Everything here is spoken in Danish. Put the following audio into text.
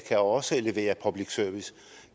også kan levere public service